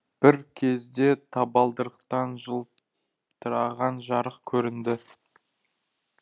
бір кезде табалдырықтан жылтыраған жарық көрінді